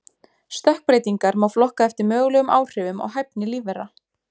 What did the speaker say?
Stökkbreytingar má flokka eftir mögulegum áhrifum á hæfni lífvera.